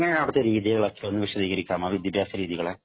എങ്ങനെയായിരുന്നു അവിടുത്തെ രീതികളൊക്കെ വിദ്യാഭ്യാസ രീതികളൊക്കെ ഒന്ന് വിശദീകരിക്കാമോ